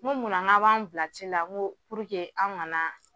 Ŋo mun na ŋ'a' b'an' bila ci la ŋo an' ŋana